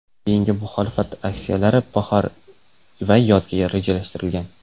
Keyingi muxolifat aksiyalari bahor va yozga rejalashtirilgan.